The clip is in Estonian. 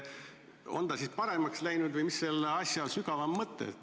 On ta siis paremaks läinud või mis selle asja sügavam mõte on?